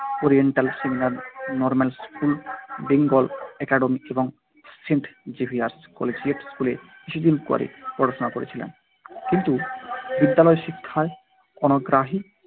Oriental seminary, normal school, Bengal academy এবং saint Xavier's collegiate স্কুলে কিছুদিন করে পড়াশোনা করেছিলেন। কিন্তু বিদ্যালয় শিক্ষায় অনাগ্রহী